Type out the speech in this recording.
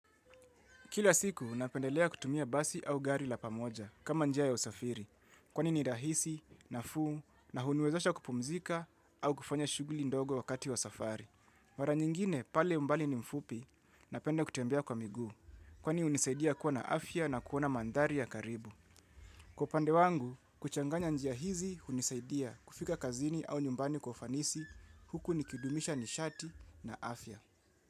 Kila siku, napendelea kutumia basi au gari la pamoja, kama njia ya usafiri, kwani ni rahisi, nafuu, na huniwezesha kupumzika au kufanya shuguli ndogo wakati wa safari. Mara nyingine, pale umbali ni mfupi, napende kutembea kwa miguu, kwani unisaidia kuwa na afya na kuona mandhari ya karibu. Kwa upande wangu, kuchanganya njia hizi, hunisaidia kufika kazini au nyumbani kwa ufanisi, huku nikidumisha nishati na afya.